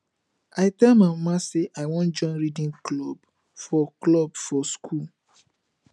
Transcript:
i tell my mama say i wan join reading club for club for school